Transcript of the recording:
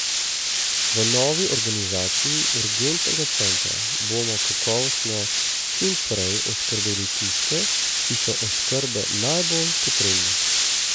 V novi organizaciji urgentnega centra bomo kakovostno čim prej oskrbeli tiste, ki so oskrbe najbolj potrebni.